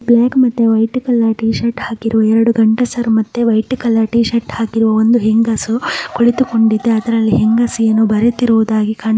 block ಮತ್ತೆ white colour T shirt ಹಾಕಿರುವ ಎರಡು ಗಂಡಸರು ಮತ್ತೆ ವೈಟ್ ಕಲರ್ ಟೀ ಶರ್ಟ್ ಹಾಕಿರುವ ಇಂದು ಹೆಂಗಸು ಕುಳಿತುಕೊಂಡಿದೆ ಅದ್ರಲ್ಲಿ ಹೆಂಗಸು ಏನೋ ಬರೀತೀರೋದಾಗಿ ಕಾಣಿ --